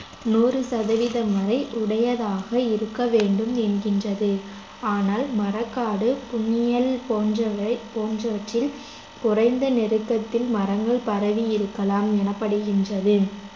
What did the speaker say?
நூறு சதவீதம் வரை உடையதாக இருக்கவேண்டும் எங்கின்றது ஆனால் மரக்காடு புன்னியல் போன்றவை போன்றவற்றில் குறைந்த நெருக்கத்தில் மரங்கள் பரவி இருக்கலாம் எனப்படுகின்றது